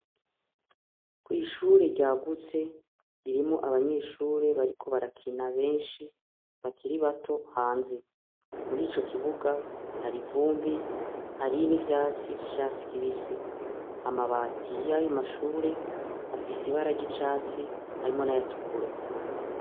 Kwihure ryagutse irimwo abanyeshure bariko barakina benshi bakiri bato hanze muri ico kibuga hari ivumbi hari n' ivyatsi vy' icatsi kibisi amabati y' ayo mashure afise ibara ry' icatsi harimwo n' ayatukura.